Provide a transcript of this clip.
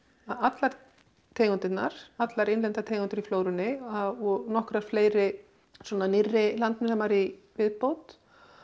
allar tegundirnar allar innlendar tegundir í flórunni og nokkrar fleiri svona nýrri landnemar í viðbót